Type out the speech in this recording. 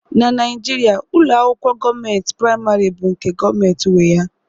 Na Naijiria, ụlọ akwụkwọ gọọmentị praịmarị bụ nke gọọmentị nwe ya